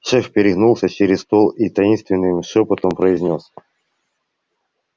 шеф перегнулся через стол и таинственным шёпотом произнёс